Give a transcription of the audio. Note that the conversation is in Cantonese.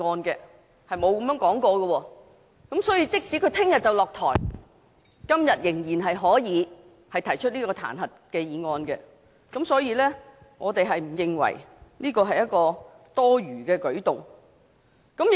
因此，即使他明天便要下台，今天仍可以提出這彈劾議案，所以我們不認為這是多餘的舉動。